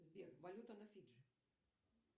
сбер валюта на фиджи